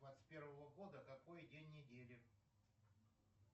двадцать первого года какой день недели